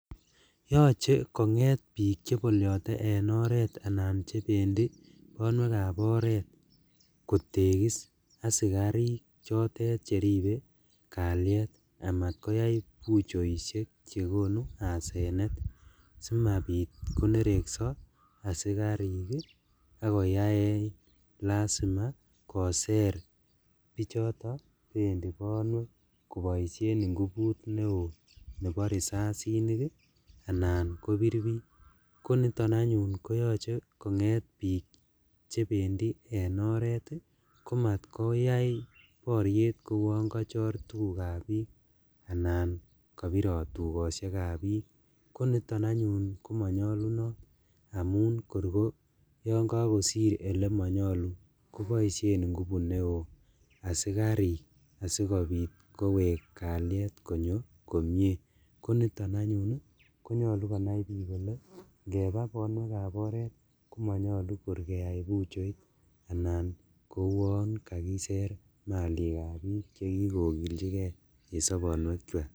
Yoche konget bik cheboliote en oret anan chebendi bonwekab oret kotekis asikarik chotet cheribe kalyet amat koyai buchoishek chekonu asenet simabit konerekso asikarik ak koyaen lasima koser bichoto bendi bonwek koboishen inguput neo nebo risasinik anan kobir bik, koniton anyun koyoche konget bik chebendi oret komatkoyai boriet koun kochor tugukab bik anan kobirot tugoshekab bik, koniton anyun komonyolunot amun kor koyonkokosir elemonyolu koboishen ingupu neo asikarik asikobit kowek kalyet konyo komie koniton anyun konyolu konai bik kole ingepa bonwekab oret komonyolu kor keyai buchoit anan koun kakiser malikab bik chekikokiljigee en sobonuekwak.